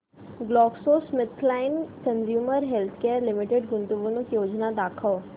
GlaxoSmithKline consumer healthcare limited गुंतवणूक योजना दाखव